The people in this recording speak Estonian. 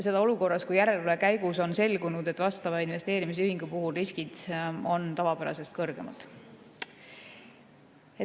Seda olukorras, kus järelevalve käigus on selgunud, et investeerimisühingu riskid on tavapärasest kõrgemad.